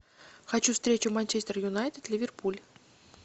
хочу встречу манчестер юнайтед ливерпуль